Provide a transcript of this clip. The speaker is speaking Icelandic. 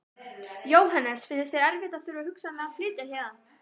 Jóhannes: Finnst þér erfitt að þurfa hugsanlega að flytjast héðan?